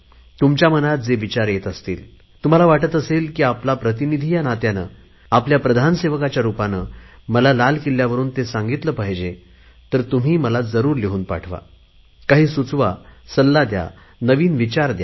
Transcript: तुमच्या मनात जे विचार येत असतील आपल्याला वाटत असेल की आपला प्रतिनिधी या नात्याने आपल्या प्रधान सेवकाच्या रुपाने मला लाल किल्ल्यावरुन ते सांगितले पाहिजे तर तुम्ही मला जरुर लिहून पाठवा काही सुचवा सल्ला द्या नवीन विचार द्या